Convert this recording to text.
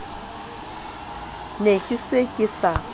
ne ke se ke sa